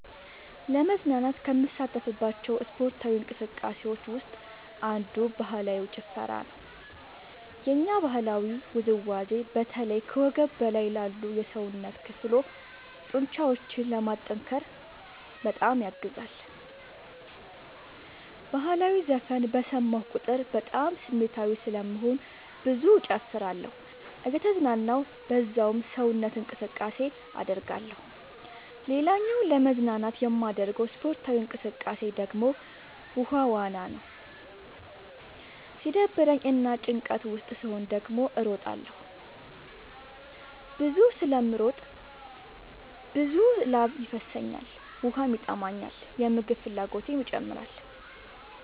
ለመዝናናት ከምሳተፍባቸው ስፓርታዊ እንቅስቃሴዎች ውስጥ አንዱ ባህላዊ ጭፈራ ነው። የኛ ባህላዊ ውዝዋዜ በተለይ ከወገብ በላይ ላሉ የሰውነት ክፍሎ ጡንቻዎችን ለማጠንከር በጣም ያግዛል። በህላዊ ዘፈን በሰማሁ ቁጥር በጣም ስሜታዊ ስለምሆን ብዙ እጨፍራለሁ እየተዝናናሁ በዛውም ሰውነት እንቅስቃሴ አደርጋለሁ። ሌላኛው ለመዝናናት የማደርገው ስፖርታዊ እንቅቃሴ ደግሞ ውሃ ዋና ነው። ሲደብረኝ እና ጭንቀት ውስጥ ስሆን ደግሞ እሮጣለሁ። ብዙ ስለምሮጥ ብዙ ላብ ይፈሰኛል ውሃም ይጠማኛል የምግብ ፍላጎቴም ይጨምራል።